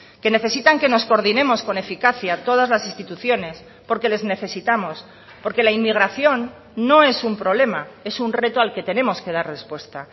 que necesitan que nos coordinemos con eficacia todas las instituciones porque les necesitamos porque la inmigración no es un problema es un reto al que tenemos que dar respuesta